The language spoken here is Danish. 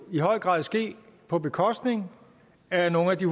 i høj grad ske på bekostning af nogle af de